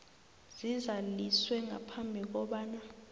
zizaliswe ngaphambi kobana